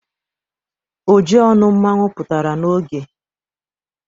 Ojionu Mmanwu putara n'oge